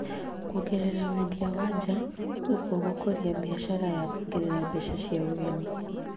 kuongerera wendia wa nja, ũguo gũkũria biashara ya kuongerera mbeca cia ũgeni.